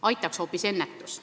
Aitaks hoopis ennetus.